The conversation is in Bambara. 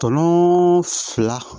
Tɔlo fila